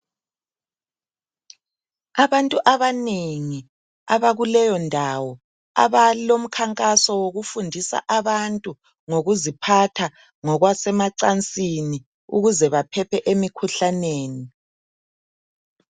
Abantu abanengi abakuleyondawo abalomkhankaso wokufundisa abantu ngokuziphatha ngokwasemacansini ukuze baphephe emikhuhlaneni